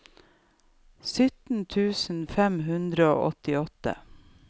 syttien tusen fem hundre og åttiåtte